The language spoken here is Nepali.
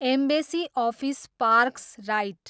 embassy office parks right